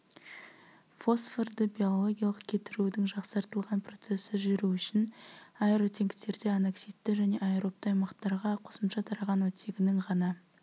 фосфорды биологиялық кетірудің жақсартылған процесі жүру үшін аэротенктерде аноксидті және аэробты аймақтарға қосымша тараған отттегінің ғана